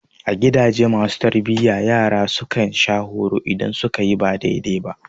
A gidaje masu tarbiyya, yara su kan sha horo idan su ka yi ba daidai ba.